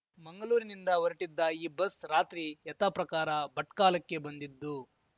ಮಂಗಲೂರಿನಿಂದ ಹೊರಟಿದ್ದ ಈ ಬಸ್‌ ರಾತ್ರಿ ಯಥಾಪ್ರಕಾರ ಭಟ್ಕಲಕ್ಕೆ ಬಂದಿದ್ದು